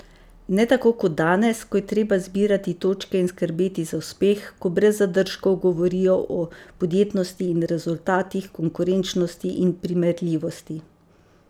Ne tako kot danes, ko je treba zbirati točke in skrbeti za uspeh, ko brez zadržkov govorijo o podjetnosti in rezultatih, konkurenčnosti in primerljivosti.